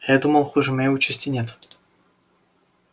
а я думал хуже моей участи нет